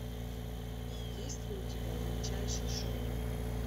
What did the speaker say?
есть ли у тебя величайший шоумен